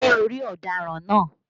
Ṣé o ri ọ̀daràn náà?